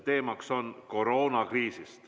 Teemaks on koroonakriis.